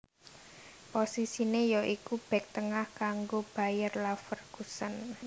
Posisiné ya iku bèk tengah kanggo Bayer Leverkusen